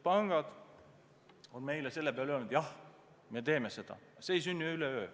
Pangad on meile selle peale öelnud, et jah, me teeme seda, aga see ei sünni üleöö.